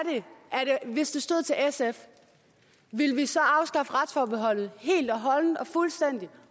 hvis det stod til sf ville vi så afskaffe retsforbeholdet helt og holdent og fuldstændigt